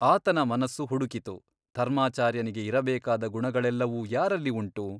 ಆತನ ಮನಸ್ಸು ಹುಡುಕಿತು ಧರ್ಮಾಚಾರ್ಯನಿಗೆ ಇರಬೇಕಾದ ಗುಣಗಳೆಲ್ಲವೂ ಯಾರಲ್ಲಿ ಉಂಟು ?